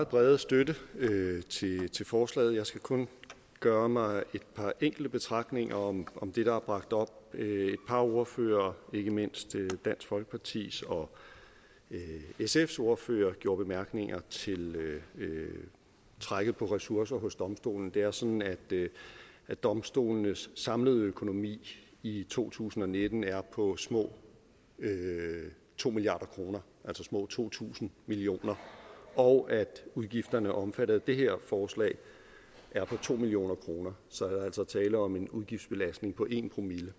brede støtte til forslaget jeg skal kun gøre mig et par enkelte betragtninger om om det der er bragt op et par ordførere ikke mindst dansk folkepartis og sfs ordførere gjorde bemærkninger til trækket på ressourcer hos domstolene det er sådan at at domstolenes samlede økonomi i to tusind og nitten er på små to milliard kr altså små to tusind million kr og at udgifterne omfattet af det her forslag er på to million kr så der er altså tale om en udgiftsbelastning på en promille